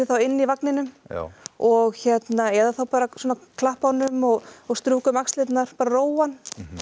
inni í vagninum og hérna eða þá bara að klappa honum og og strjúka um axlirnar róa hann